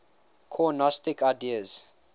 core gnostic ideas